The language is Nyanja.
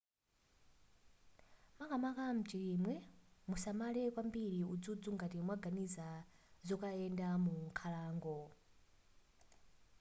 makamaka mchilimwe musamale kwambiri udzudzu ngati mwaganiza zokayenda mu nkhalango